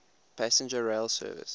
passenger rail service